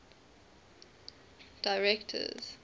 directors